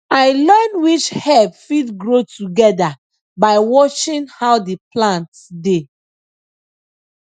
i learn which herb fit grow together by watching how the plants dey